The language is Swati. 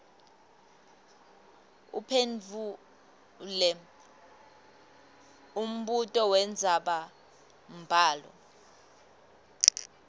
uphendvule umbuto wendzabambhalo